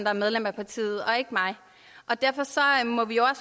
er medlem af partiet og ikke mig og derfor må vi jo